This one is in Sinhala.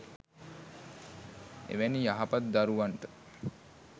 එවැනි යහපත් දරුවන්ට